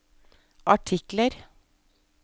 artikler